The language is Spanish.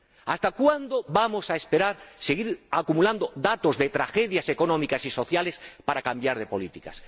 ¿Hasta cuándo vamos a esperar a que se sigan acumulando datos de tragedias económicas y sociales para cambiar de políticas?